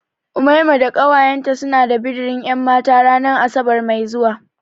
Umaima da ƙawayen ta suna da bidirin ƴanmata ranan asabar mai zuwa.